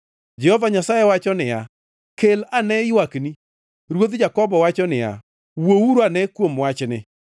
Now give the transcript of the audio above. Jehova Nyasaye wacho niya, “Kel ane ywakni.” Ruodh Jakobo wacho niya, “Wuouru ane kuom wachni.